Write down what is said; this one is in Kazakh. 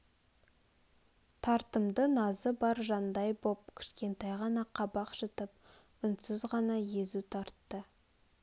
тартымды назы бар жандай боп кшкентай ғана қабақ шытып үнсіз ғана езу тартты